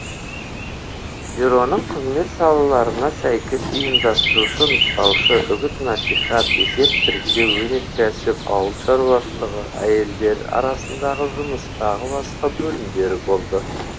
бюроның қызмет салаларына сәйкес ұйымдастырушы нұсқаушы үгіт насихат есеп тіркеу өнеркәсіп ауыл шаруашылығы әйелдер арасындағы жұмыс тағы басқа бөлімдері болды